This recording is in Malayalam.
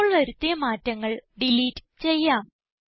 ഇപ്പോൾ വരുത്തിയ മാറ്റങ്ങൾ ഡിലീറ്റ് ചെയ്യാം